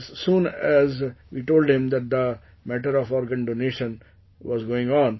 As soon as we told him that the matter of organ donation was going on